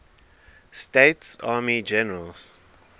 states army generals